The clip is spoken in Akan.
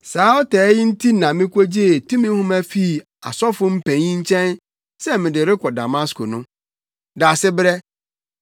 “Saa ɔtaa yi nti na mikogyee tumi nhoma fii asɔfo mpanyin nkyɛn sɛ mede rekɔ Damasko no.